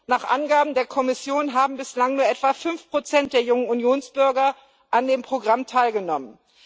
Nach Angaben der Kommission haben bislang nur etwa 5 der jungen Unionsbürger an dem Programm teilgenommen.